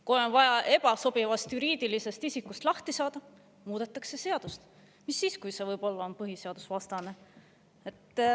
Kui on vaja ebasobivast juriidilisest isikust lahti saada, muudetakse seadust, mis siis, kui see võib-olla on põhiseadusvastane.